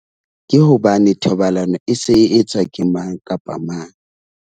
Ke hobane thobalano e se e etswa ke mang kapa mang.